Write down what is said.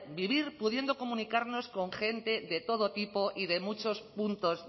vivir pudiendo comunicarnos con gente de todo tipo y de muchos puntos